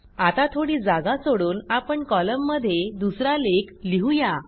आता थोडी जागा सोडून आपण कॉलममध्ये दुसरा लेख लिहू या